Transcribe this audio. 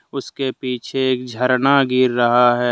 उसके पीछे एक झरना गिर रहा है।